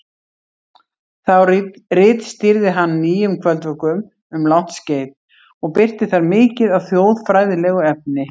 Þá ritstýrði hann Nýjum kvöldvökum um langt skeið og birti þar mikið af þjóðfræðilegu efni.